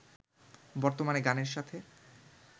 বর্তমানে গানের সাথে